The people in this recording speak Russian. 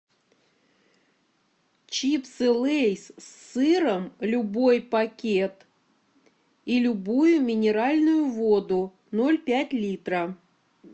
чипсы лейс с сыром любой пакет и любую минеральную воду ноль пять литра